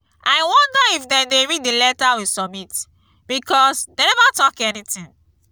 i wonder if dem dey read the letter we submit because dey never talk anything